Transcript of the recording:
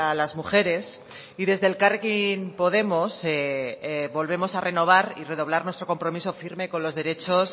las mujeres y desde elkarrekin podemos volvemos a renovar y redoblar nuestro compromiso firme con los derechos